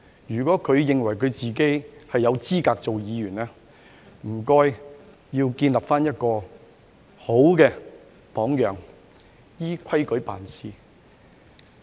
如果他認為自己有資格做議員，請他建立好榜樣，依規矩辦事。